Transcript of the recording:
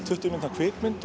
tuttugu mínútna kvikmynd